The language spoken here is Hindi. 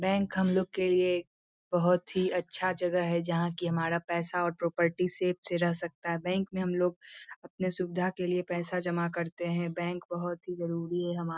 बैंक हम लोग के लिए बहुत ही अच्छा जगह है जहाँ कि हमारा पैसा और प्रोपटी सेफ से रह सकता है बैंक में हम लोग अपना सुविधा के लिए पैसा जमा करते है बैंक बहुत ही जरूरी है हमारे --